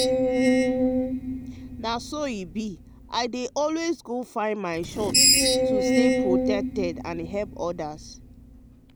na so e be i dey always go for my shot to stay protected and help others.